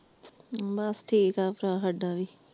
ਬਸ ਠੀਕਾ ਭਰਾ ਸਾਡਾ ਵੀ ।